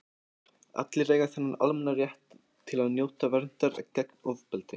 allir eiga þennan almenna rétt til að njóta verndar gegn ofbeldi